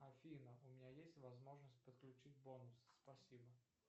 афина у меня есть возможность подключить бонусы спасибо